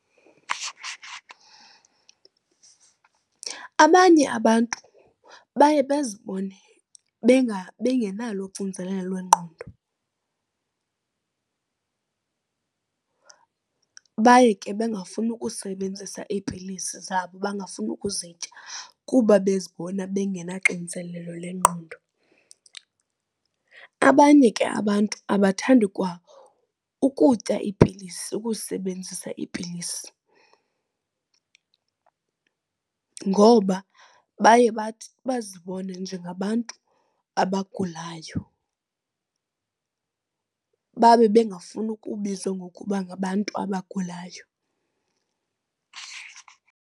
Abanye abantu baye bazibone bengenalo uxinzelelo lwengqondo baye ke bengafuni ukusebenzisa iipilisi zabo, bangafuni ukuzitya kuba bezibona bengenaxinzelelo lengqondo. Abanye ke abantu abathandi kwa ukutya iipilisi, ukusezibenzisa iipilisi ngoba baye bathi bazibone njengabantu abagulayo babe bengafuni ukubizwa ngokuba ngabantu abagulayo.